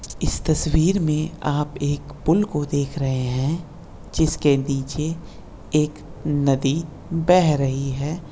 इस तस्वीर में आप एक पुल को देख रहे हैं जिसके नीचे एक नदी बह रही है।